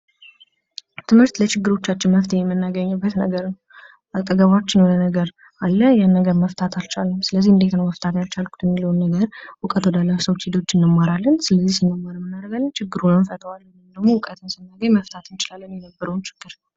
ትምህርት ለችግሮቻቸው መፍትሄ የምናገኘው ነገር ነው። አጠገባችን የሆነ ነገር አለ ይህን ነገር መፍታት አልቻልንም፤ ስለዚህ እንዴት ነው መፍታት ያልቻልኩት? ብለን እውቀቱ ወዳላቸው ሰዎች እንማራለን። ስለዚህ ስንማር ማን እናደርጋለን ችግሩን እንፈታዋለን። እውቀትን ስናገኝ የመፍታት እንችላለን የነበረውን ችግር።